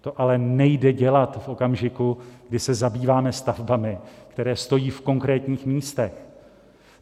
To ale nejde dělat v okamžiku, kdy se zabýváme stavbami, které stojí v konkrétních místech.